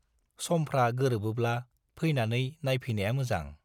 समफ्रा गोरोबोब्ला फैनानै नायफैनाया मोजां।